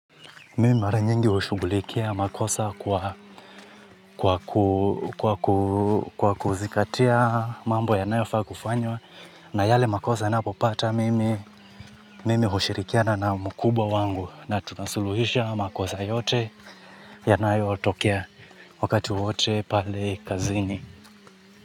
Mimi mara nyingi hushughulikia makosa kwa kwa kuzingatia mambo yanayofaa kufanywa na yale makosa ninapopata mimi mimi hushirikiana na mkubwa wangu na tunasuluhisha makosa yote yanayotokea wakati wote pale kazini.